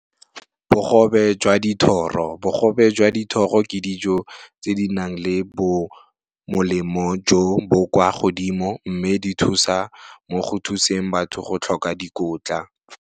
Bogobe jwa dithoro, bogobe jwa dithoro ke dijo tse di nang le bo molemo jo bo kwa godimo mme di thusa mo go thuseng batho go tlhoka dikotla.